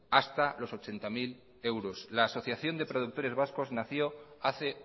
hasta los ochenta mil euros la asociación de productores vascos nació hace